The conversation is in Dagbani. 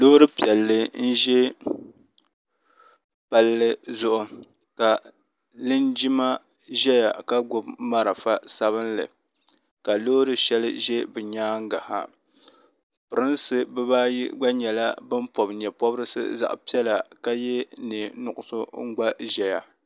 lori piɛli n ʒɛ pali zʋɣ' ka linjima ʒɛya ka gbabi mariƒɔ sabinli ka lori shɛli ʒɛ be nyɛŋa pɛrinsi bi baayi gba nyɛla n pobi nyɛɛpobirisi zaɣ' pɛla ka yɛ nɛɛ nuɣisu n gba ʒɛya